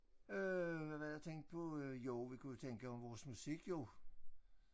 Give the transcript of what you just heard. Øh hvad var det jeg tænkte på øh jo vi kunne jo tænke om vores musik jo